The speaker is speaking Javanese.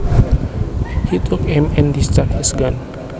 He took aim and discharged his gun